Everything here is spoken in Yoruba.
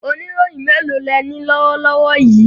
Oníròyìn mélòó lẹní lọ́wọ́ lọ́wọ́ yìí?